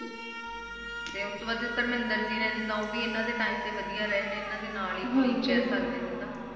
ਅਤੇ ਉਸ ਤੋਂ ਬਾਅਦ ਧਰਮਿੰਦਰ ਜੀ ਨੇ ਜਿੱਦਾ ਉਹ ਵੀ ਆਪਣੇ Time ਦੇ ਵਦੀਆ ਇਹਨਾਂ ਦੇ ਨਾਲ ਹੀ ਰਹੇ ਨੇ ਅਪਾ ਕਹਿ ਸਕਦੇ ਆ ਜਿੱਦਾ